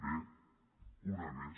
bé una més